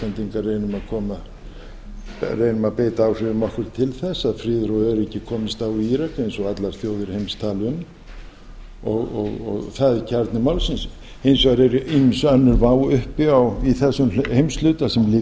reynum að beita áhrifum okkar til þess að friður og öryggi komist á í írak eins og allar þjóðir heims tala um það er kjarni málsins hins vegar er ýmis önnur vá uppi í þessum heimshluta sem líka